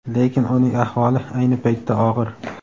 lekin uning ahvoli ayni paytda og‘ir.